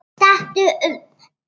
Stattu upp!